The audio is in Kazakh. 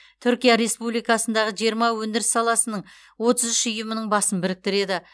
түркия республикасындағы жиырма өндіріс саласының отыз үш ұйымының басын біріктіреді